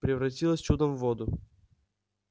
превратилась чудом в воду